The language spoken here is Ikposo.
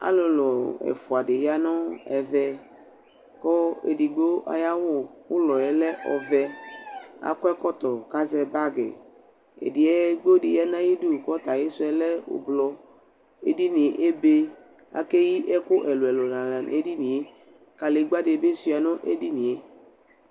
Alulu ɛfʋa dɩ ya nʋ ɛvɛ, kʋ edigbo ayʋ awʋ ʋlɔ yɛ lɛ ɔvɛ Akɔ ɛkɔtɔ kʋ azɛ bagɩ Edigbo dɩ ya nʋ ayʋ ɩdʋ kʋ ɔta ayisu yɛ lɛ ʋblʋ Edini yɛ ebe Akeyi ɛkʋ ɛlʋ ɛlʋ la nʋ edini yɛ Kalegbǝ dɩ bɩ shʋa nʋ edini yɛ